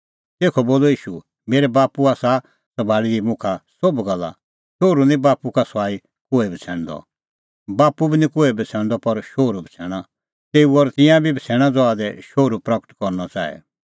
तेखअ बोलअ ईशू मेरै बाप्पू आसा सभाल़ी दी मुखा सोभ गल्ला शोहरू निं बाप्पू का सुआई कोहै बछ़ैणदअ बाप्पू बी निं कोहै बछ़ैणदअ पर शोहरू बछ़ैणा तेऊ और तिंयां बी बछ़ैणा ज़हा दी शोहरू प्रगट करनअ च़ाहे